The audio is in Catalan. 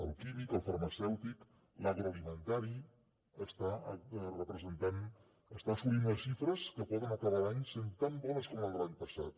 el químic el farmacèutic l’agroalimentari està assolint unes xifres que poden acabar l’any sent tan bones com les de l’any passat